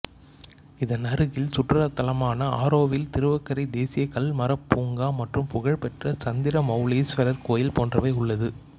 இதன் அருகில் சுற்றுலா தளமான ஆரோவில் திருவக்கரை தேசிய கல் மரப்பூங்கா மற்றும் புகழ்பெற்ற சந்திரமவுலீஸ்வரர் கோயில் போன்றவை உள்ளது